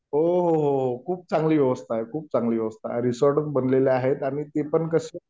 हो हो खूप चांगली व्यवस्था आहे खूप चांगली व्यवस्था आहे, रिसॉर्ट च बनलेले आहेत आणि ते पण कशे